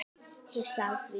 Hissa á því?